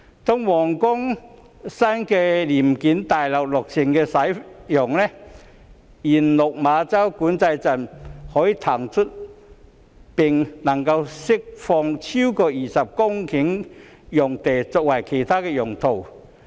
當皇崗新聯檢大樓落成使用，原落馬洲管制站將可騰出並釋放超過20公頃用地作其他用途。